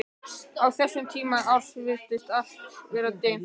Á þessum tíma árs virtist alltaf vera dimmt.